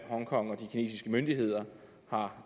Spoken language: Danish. hongkong og de kinesiske myndigheder har